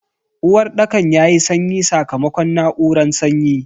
Uwarɗakan yayi sanyi sakamakon na'uran sanyi.